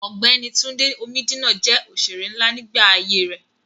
Ọ̀gbẹ́ni Túndé Omídínà jẹ́ òṣèré nlá nígbà ayé rẹ̀